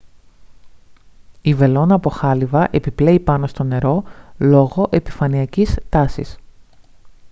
η βελόνα από χάλυβα επιπλέει πάνω στο νερό λόγω επιφανειακής τάσης